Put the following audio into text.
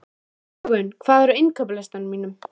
Dögun, hvað er á innkaupalistanum mínum?